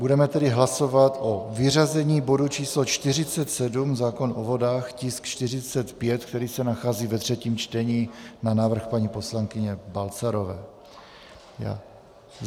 Budeme tedy hlasovat o vyřazení bodu č. 47, zákon o vodách, tisk 45, který se nachází ve třetím čtení, na návrh paní poslankyně Balcarové.